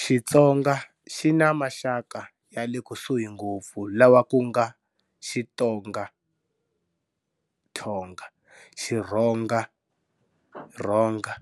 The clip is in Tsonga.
Xitsonga xi ni maxaka ya le kusuhi ngopfu lawa ku nga-Xitonga, Thonga, Xirhonga, Ronga,